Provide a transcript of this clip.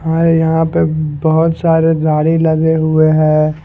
और यहां पे बहोत सारे गाड़ी लगे हुए हैं।